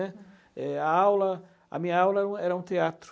né. A aula, minha aula era um teatro.